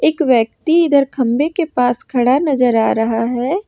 एक व्यक्ति इधर खंबे के पास खड़ा नजर आ रहा है।